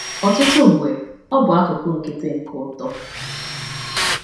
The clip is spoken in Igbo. Ọtụtụ mgbe, ọ bụ akụkụ nkịtị nke uto.